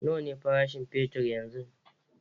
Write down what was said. Nawa ne farashin fetur yanzun?